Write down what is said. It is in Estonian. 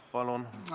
Palun!